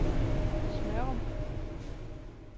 Smørum